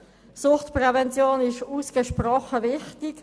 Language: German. Suchtprävention ist ausgesprochen wichtig.